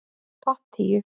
Topp tíu